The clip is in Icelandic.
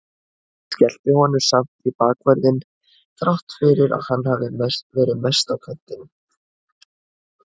Skellti honum samt í bakvörðinn þrátt fyrir að hann hafi verið mest á kantinum.